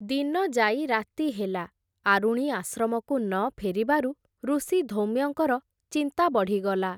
ଦିନ ଯାଇ ରାତି ହେଲା, ଆରୁଣି ଆଶ୍ରମକୁ ନ ଫେରିବାରୁ ଋଷି ଧୌମ୍ୟଙ୍କର ଚିନ୍ତା ବଢ଼ିଗଲା ।